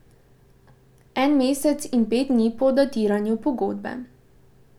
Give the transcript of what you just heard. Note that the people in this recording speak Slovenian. En mesec in pet dni po datiranju pogodbe.